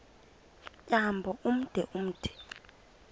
tyambo ude umthi